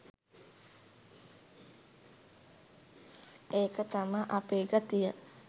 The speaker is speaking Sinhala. ඒක තමා අපේ ගතිය